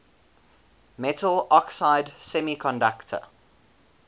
metal oxide semiconductor